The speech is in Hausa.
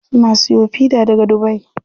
Suna siyo fida daga dubai.